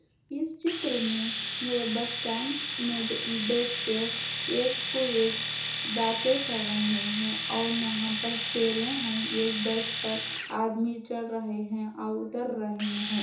इस चित्र में ये बस स्टैंड में ब-बैठ के ये कोई एक बाते कर रहे है और यहाँ पे चैरे है इ बस में आदमी चढ़ रहे है और उतर रहे है।